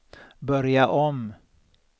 börja om